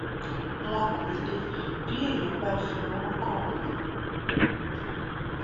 wọn kò le bí èèyàn bá fi ọwọ kàn án wọn